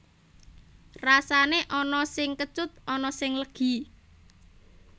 Rasané ana sing kecut ana sing legi